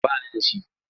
Ba ni da shi.